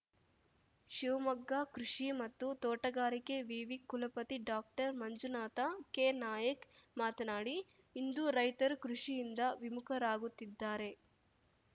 ಶಿವಮೊಗ್ಗ ಕೃಷಿ ಮತ್ತು ತೋಟಗಾರಿಕೆ ವಿವಿ ಕುಲಪತಿ ಡಾಕ್ಟರ್ ಮಂಜುನಾಥ ಕೆನಾಯಕ್‌ ಮಾತನಾಡಿ ಇಂದು ರೈತರು ಕೃಷಿಯಿಂದ ವಿಮುಖರಾಗುತ್ತಿದ್ದಾರೆ